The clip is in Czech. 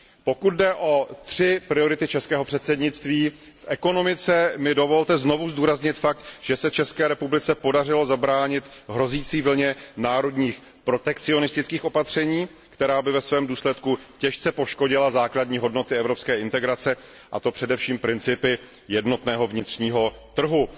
Pokud jde o tři priority českého předsednictví v ekonomice mi dovolte znovu zdůraznit fakt, že se České republice podařilo zabránit hrozící vlně národních protekcionistických opatření, která by ve svém důsledku těžce poškodila základní hodnoty evropské integrace a to především principy jednotného vnitřního trhu.